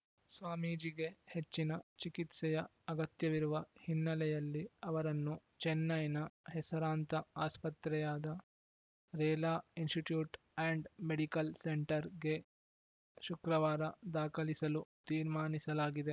ಸ್ವಾಮೀಜಿಗೆ ಹೆಚ್ಚಿನ ಚಿಕಿತ್ಸೆಯ ಅಗತ್ಯವಿರುವ ಹಿನ್ನೆಲೆಯಲ್ಲಿ ಅವರನ್ನು ಚೆನ್ನೈನ ಹೆಸರಾಂತ ಆಸ್ಪತ್ರೆಯಾದ ರೇಲಾ ಇನ್‌ಸ್ಟಿಟ್ಯೂಟ್‌ ಆ್ಯಂಡ್‌ ಮೆಡಿಕಲ್‌ ಸೆಂಟರ್‌ಗೆ ಶುಕ್ರವಾರ ದಾಖಲಿಸಲು ತೀರ್ಮಾನಿಸಲಾಗಿದೆ